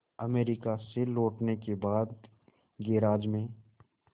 America से लौटने के बाद गैराज में